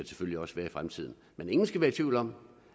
selvfølgelig også være i fremtiden men ingen skal være i tvivl om